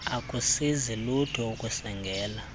akusizi lutho ukusengela